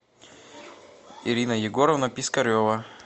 ирина егоровна пискарева